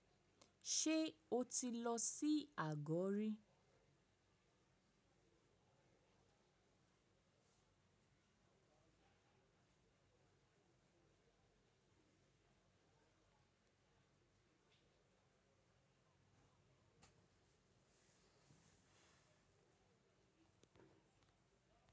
Ṣé o ti lọ sí Àgọ́ rí?